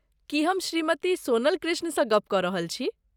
की हम श्रीमति सोनल कृष्णसँ गप कऽ रहल छी?